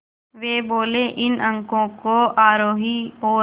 वे बोले इन अंकों को आरोही और